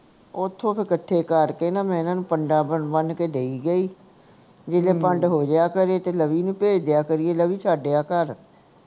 ਓਥੋਂ ਫੇਰ ਕੱਠੇ ਕਰ ਕੇ ਨਾ ਮੈਂ ਇਹਨਾਂ ਨੂੰ ਪੰਡਾ ਬੰਨ੍ਹ ਕੇ ਦੇਈ ਗਈ ਜਦੋਂ ਪੰਡ ਹੋ ਜੀਆ ਕਰੇ ਤੇ ਲਵੀ ਨੂੰ ਭੇਜ ਦੀਆ ਕਰੀਏ ਲਵੀ ਛੱਡ ਆ ਘਰ